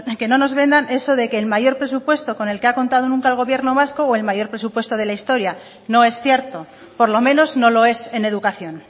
que no nos vendan eso de que el mayor presupuesto con el que ha contado nunca el gobierno vasco o el mayor presupuesto de la historia no es cierto por lo menos no lo es en educación